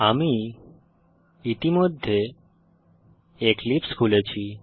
আমি ইতিমধ্যে এক্লিপসে খুলেছি